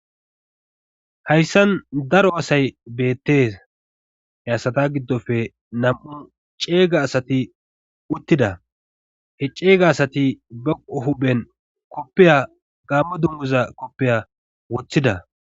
Hayssan daro asay beettees. he asata giddoppe nam"u ceega asati uttida. he ceega asati baqo huphen koppiya gaammo dungguzza koppiya woththida.